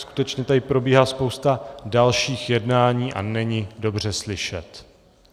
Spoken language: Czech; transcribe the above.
Skutečně tady probíhá spousta dalších jednání a není dobře slyšet.